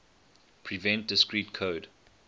prevent discrete code